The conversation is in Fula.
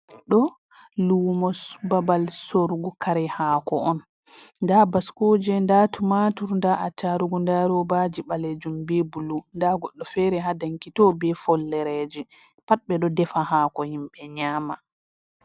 Ɗo luumos babal sorugu kare haako on, ndaa baskooje, ndaa tumatur ,ndaa attarugu ,ndaa robaaji ɓaleejum be bulu ,ndaa goɗɗo feere haa danki too, be follereji pat. Ɓe ɗo defa haako himɓe nyaama.